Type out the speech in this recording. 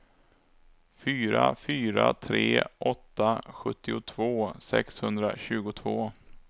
fyra fyra tre åtta sjuttiotvå sexhundratjugotvå